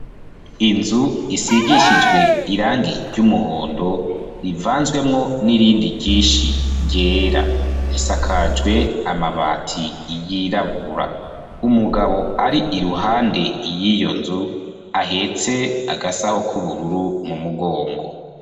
Inzu, isigishijwe irangi ry'umuhondo, rivanzwemwo n'irindi ryinshi ryera; isakajwe amabati yirabura; umugabo ari iruhande y'iyo nzu, ahetse agasaho k'ubururu, mu mugongo.